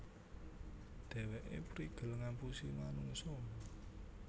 Dhèwèké prigel ngapusi manungsa